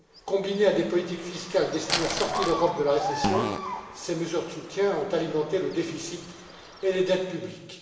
Combinées à des politiques fiscales destinées à sortir l'Europe de la récession, ces mesures de soutien ont alimenté le déficit et les dettes publiques.